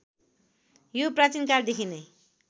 यो प्राचीनकालदेखि नै